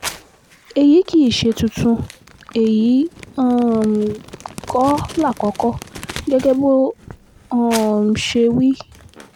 èyí kì í ṣe tuntun èyí um kọ́ lákòókò gẹ́gẹ́ bó um ṣe wí